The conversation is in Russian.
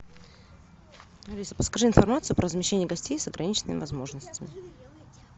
алиса подскажи информацию про размещение гостей с ограниченными возможностями